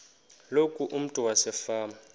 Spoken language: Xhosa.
loku umntu wasefama